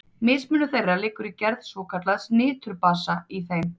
Mismunur þeirra liggur í gerð svokallaðs niturbasa í þeim.